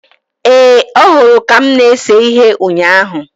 Ee, ọ hụrụ ka m na-ese ihe ụnyaahụ